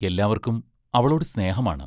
എല്ലാവർക്കും അവളോട് സ്നേഹമാണ്.